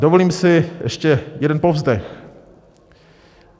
Dovolím si ještě jeden povzdech.